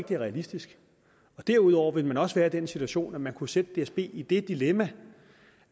det er realistisk derudover ville man også være i den situation at man kunne sætte dsb i det dilemma